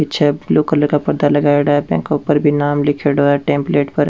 पीछे blue colour का पर्दा लगाई डा है जाके ऊपर भी नाम लीखेड़ो है नेमप्लेट पर --